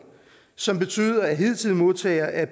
som betyder at hidtidige modtagere af